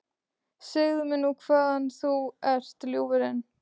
Segðu mér nú hvaðan þú ert, ljúfurinn?